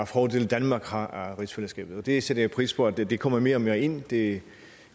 fordele danmark har af rigsfællesskabet jeg sætter pris på at det kommer mere og mere ind det